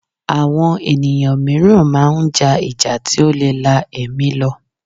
Àwọn ènìyàn mìíràn máa ń ja ìjà tí ó lè la ẹ̀mí lọ